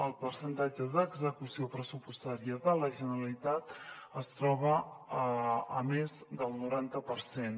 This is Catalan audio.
el percentatge d’execució pressupostària de la generalitat es troba a més del noranta per cent